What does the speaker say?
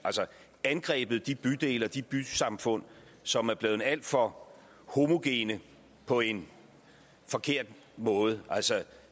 angrebet de bydele og de bysamfund som er blevet alt for homogene på en forkert måde